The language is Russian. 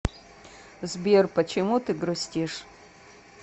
сбер почему ты грустишь